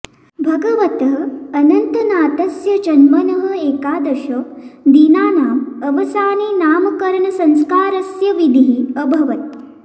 भगवतः अनन्तनाथस्य जन्मनः एकादश दिनानाम् अवसाने नामकरणसंस्कारस्य विधिः अभवत्